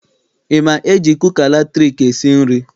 I ma eji kuka latriki esi nri?